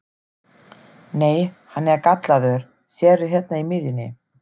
Nei, hann er gallaður, sérðu hérna í miðjunni.